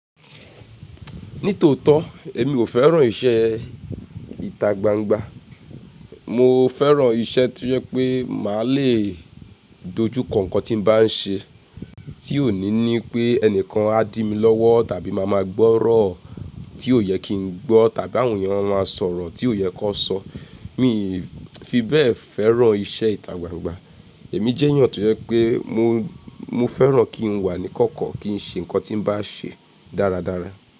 Ní tòótọ́ èmi ò fẹ́ràn iṣẹ́ ìta gbangba. Mọ fẹ́ràn iṣẹ́ tí ó yẹ pé màá le dojú ko on tí n bá n ṣe, tí òní ní pé ẹnìkan a dí mi lọ́wọ́ tàbí màá máa gbọ́rọ̀ tí ò yẹ kí n gbọ́ tàbí àwọn ènìyàn máa sọ̀rọ̀ tí ò yẹ kó sọ. Mi fi bẹ́ẹ̀ fẹ́ràn iṣẹ́ ìta gbangba. Èmi jẹ́ èeyan tó yẹ pé mo, mo fẹ́ràn kí n wà ní kọ́kọ́, kí n ṣe nǹkan tí n bá ṣe dáradára.